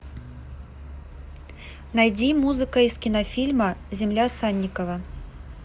найди музыка из кинофильма земля санникова